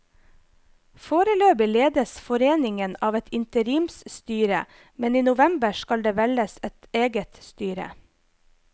Foreløpig ledes foreningen av et interimstyre, men i november skal det velges et eget styre.